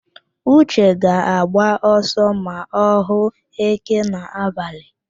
Uche ga-agba ọsọ ma ọ hụ éké n'abalị.